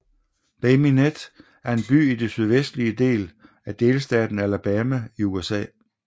Bay Minette er en by i den sydvestlige del af delstaten Alabama i USA